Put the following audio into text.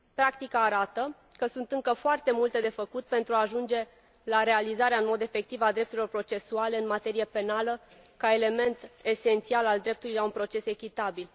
Practica arată că sunt încă foarte multe de făcut pentru a ajunge la realizarea în mod efectiv a drepturilor procesuale în materie penală ca element esențial al dreptului la un proces echitabil.